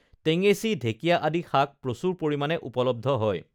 টেঙেচী ঢেকীয়া আাদি শাক প্ৰচুৰ পৰিমাণে উপলব্ধ হয়